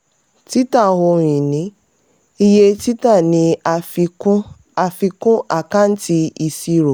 títà ohun-ìní: iye títà ni a fi kún a fi kún àkàǹtì ìṣirò.